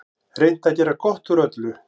Reynt að gera gott úr öllu.